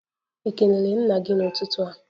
Ị kelere nna gị n'ụtụtụ a?